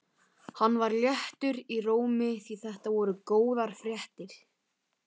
Hann var léttur í rómi því þetta voru góðar fréttir.